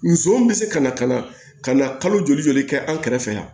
Nson bɛ se ka na ka na ka na kalo joli joli kɛ an kɛrɛfɛ yan